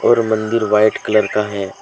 और मंदिर white colour का है।